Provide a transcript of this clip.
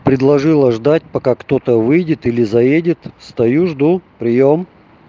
предложила ждать пока кто-то выйдет или заедет стою жду приём